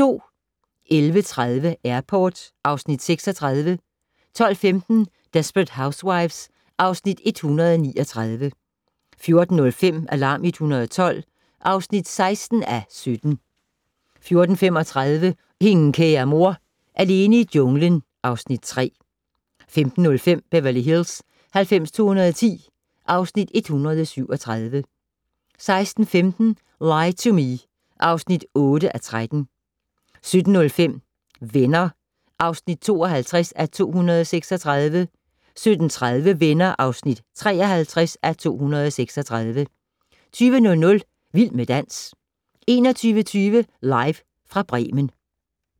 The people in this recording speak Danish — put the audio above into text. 11:30: Airport (Afs. 36) 12:15: Desperate Housewives (Afs. 139) 14:05: Alarm 112 (16:17) 14:35: Ingen kære mor - alene i junglen (Afs. 3) 15:05: Beverly Hills 90210 (Afs. 137) 16:15: Lie to Me (8:13) 17:05: Venner (52:236) 17:30: Venner (53:236) 20:00: Vild med dans 21:20: Live fra Bremen